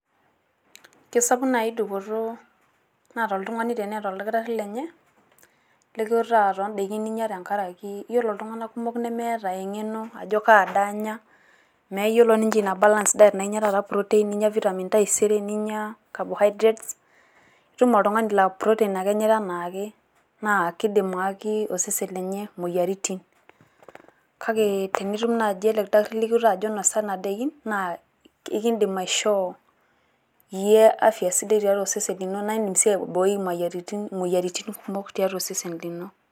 Keisapuk naaji dupoto naata oltung`ani teneeta oldakitarri lenye likiutaa too ndaikin ninyia tenkaraki yiolo iltung`anak kumok nemeeta eng`eno ajo kaa daa anya. Mmeyiolo ninche ina balanced diet naa inyia proteins taata, ninyia vitamins taisere ninyia cabohydrates . Itum oltung`ani laa proteins ake inosita anaake naa kidim ayaki osesen lenye moyiaritin. Kake tenitum naaji ele kitarri likiwutaki ajo inosa kuna daikin naa ekidim aishoo iyie afya sidai tiatua osesen lino naa idim sii aibooi imoyiaritin, imoyiaritin kumok tiatua osesen lino.